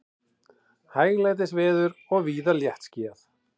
Hæglætisveður og víða léttskýjað